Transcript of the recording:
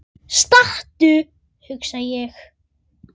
Stattu, hugsa ég.